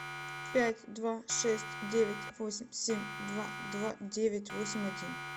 пять два шесть девять восемь семь два два девять восемь один